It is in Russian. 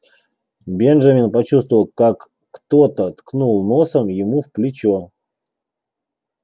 бенджамин почувствовал как кто-то ткнул носом ему в плечо